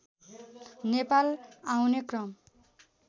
नेपाल आउने क्रम